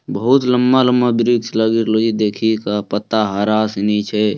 बहुत लम्बा-लम्बा वृक्ष लगी रहलो देखी के पत्ता हरा सनी छै।